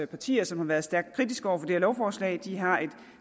partier som har været stærkt kritiske over for det her lovforslag har et